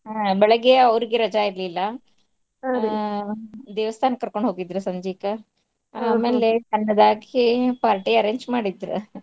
ಹಾ ಬೆಳಗ್ಗೆ ಅವ್ರಿಗೆ ರಜಾ ಇರ್ಲಿಲ್ಲಾ ದೇವಸ್ಥಾನಕ್ ಕರ್ಕೊಂಡ್ ಹೋಗಿದ್ರೂ ಸಂಜೀಕ ಆಮೇಲೆ ಸಣ್ಣದಾಗಿ party arrange ಮಾಡಿದ್ರ.